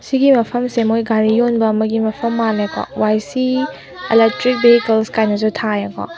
ꯁꯤꯒꯤ ꯃꯐꯝꯁꯦ ꯃꯣꯢ ꯒꯥꯔꯤ ꯋꯣꯟꯕ ꯑꯃꯒꯤ ꯃꯐꯝ ꯃꯜꯁꯦꯀꯣ ꯋꯥꯢ ꯁꯤ ꯑꯦꯂꯇꯔꯥꯛ ꯚꯦꯍꯤꯀꯜ ꯀꯥꯢꯅꯁꯨ ꯊꯥꯢꯋꯦꯀꯣ꯫